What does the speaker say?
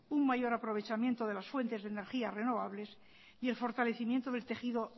un mayor aprovechamiento de las fuentes de energía renovables y el fortalecimiento del tejido